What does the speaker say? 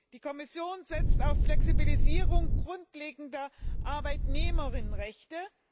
Die Kommission setzt auf Flexibilisierung grundlegender Arbeitnehmerrechte.